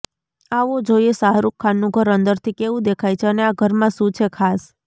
આવો જોઈએ શાહરુખ ખાનનું ઘર અંદરથી કેવું દેખાય છે અને આ ઘરમાં શું છે ખાસ